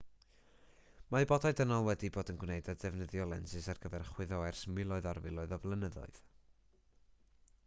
mae bodau dynol wedi bod yn gwneud a defnyddio lensys ar gyfer chwyddo ers miloedd ar filoedd o flynyddoedd